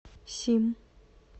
сим